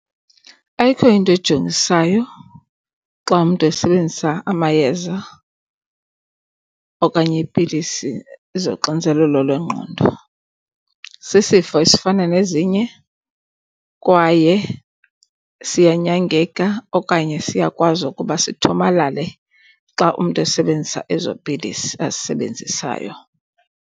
Ayikho into ejongisayo xa umntu esebenzisa amayeza okanye iipilisi zoxinzelelo lwengqondo. Sisifo esifana nezinye kwaye siyanyangeka okanye siyakwazi ukuba sithomalale xa umntu esebenzisa ezo pilisi azisebenzisayo.